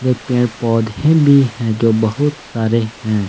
पेड़ पौधे भी हैं जो बहुत सारे हैं।